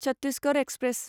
Chhattisgarh express